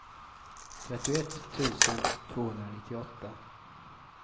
trettioett tusen tvåhundranittioåtta